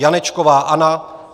Janečková Anna